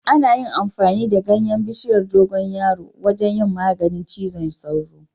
Ana yin amfani da ganyen bishiyar dogon yaro wajen yin magani cizon tsoro